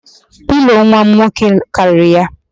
Pilo nwam nwoke karịrị ya